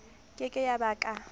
ke ke ya ba ka